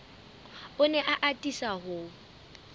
o ne a atisa ho